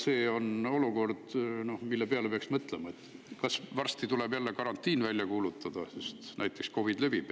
See on olukord, mille peale peaks mõtlema, sest äkki tuleb varsti jälle karantiin välja kuulutada, näiteks COVID levib.